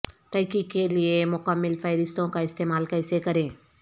تحقیق کے لئے مکمل فہرستوں کا استعمال کیسے کریں